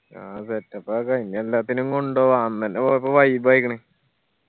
ആ setup ആക്ക. ഇനി എല്ലാത്തിനേം കൊണ്ട് പോവാ അന്ന് എന്നെ പോയപ്പോ vibe ആയിക്കണ്